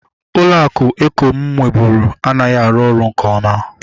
Ụlọ akụ eko mụ nweburu anaghị arụ ọrụ nke oma